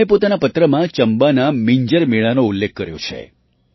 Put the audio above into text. તેમણે પોતાના પત્રમાં ચંબાના મિંજર મેળાનો ઉલ્લેખ કર્યો છે